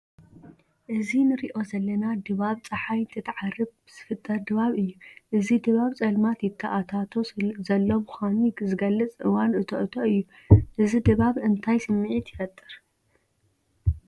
እዚ ንሪኦ ዘለና ድባብ ፀሓይ እንትትዓርብ ዝፍጠር ድባብ እዩ፡፡ እዚ ድባብ ፀልማት ይተኣታቶ ዘሎ ምዃኑ ዝገልፅ እዋን እቶ እቶ እዩ፡፡ እዚ ድባብ እንታይ ስምዒት ይፈጥር?